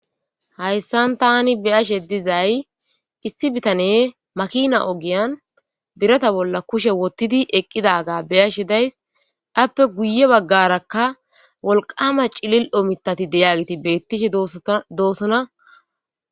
hayssan tani beyashe dizay issi bitane makina ogiyan birata bolla kushe wottidi eqqidaga beyashe days appe guye baggarakka wolqama cilil omitati deyagiti bettishi doosona